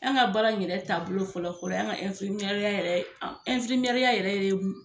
An ka baara in yɛrɛ taa bolo fɔlɔ fɔlɔ ye an ka ya yɛrɛ ya yɛrɛ